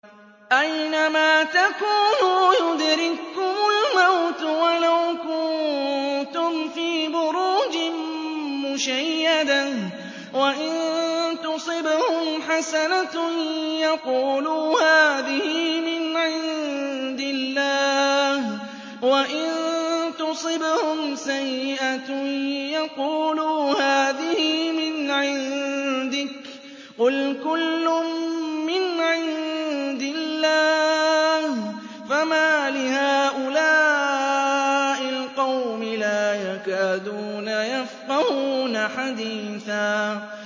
أَيْنَمَا تَكُونُوا يُدْرِككُّمُ الْمَوْتُ وَلَوْ كُنتُمْ فِي بُرُوجٍ مُّشَيَّدَةٍ ۗ وَإِن تُصِبْهُمْ حَسَنَةٌ يَقُولُوا هَٰذِهِ مِنْ عِندِ اللَّهِ ۖ وَإِن تُصِبْهُمْ سَيِّئَةٌ يَقُولُوا هَٰذِهِ مِنْ عِندِكَ ۚ قُلْ كُلٌّ مِّنْ عِندِ اللَّهِ ۖ فَمَالِ هَٰؤُلَاءِ الْقَوْمِ لَا يَكَادُونَ يَفْقَهُونَ حَدِيثًا